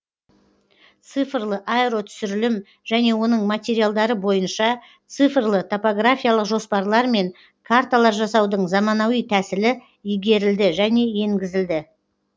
цифрлы аэротүсірілім және оның материалдары бойынша цифрлы топографиялық жоспарлар мен карталар жасаудың заманауи тәсілі игерілді және енгізілді